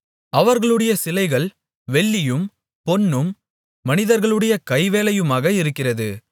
அவர்களுடைய சிலைகள் வெள்ளியும் பொன்னும் மனிதர்களுடைய கைவேலையுமாக இருக்கிறது